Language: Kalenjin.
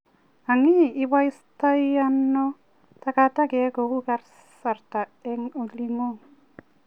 Anii, iboistoiano tagatakek kou kasrta en olingung.